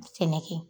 Sɛnɛkɛ